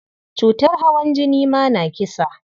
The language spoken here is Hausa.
Cutar hawan jini ma na kisa.